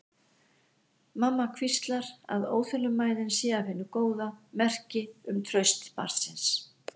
Mamma hvíslar að óþolinmæðin sé af hinu góða, merki um traust barnsins.